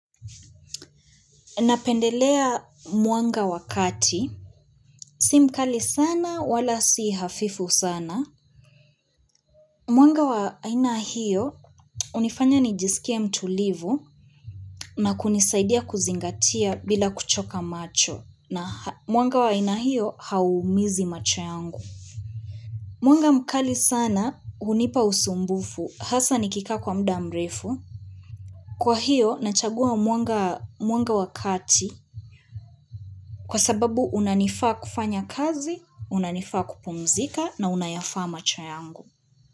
Napendelea mwanga wakati. Simkali sana wala si hafifu sana. Mwanga wainahio hunifanya nijisikia mtulivu na kunisaidia kuzingatia bila kuchoka macho na mwanga wainahio haumizi macho yangu. Mwanga mkali sana hunipa usumbufu hasa nikika kwa mudamrefu. Kwa hiyo nachagua mwanga wakati kwa sababu unanifaa kufanya kazi, unanifaa kupumzika na unayafaa macho yangu.